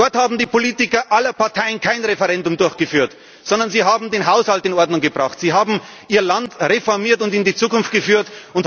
Dort haben die Politiker aller Parteien kein Referendum durchgeführt, sondern sie haben den Haushalt in Ordnung gebracht, sie haben ihr Land reformiert und in die Zukunft geführt.